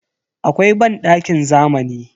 Akwai bandakin zamani.